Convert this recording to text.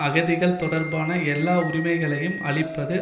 அகதிகள் தொடர்பான எல்லா உரிமைகளையும் அழிப்பது